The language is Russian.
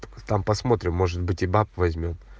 только там посмотрим может быть и баб возьмём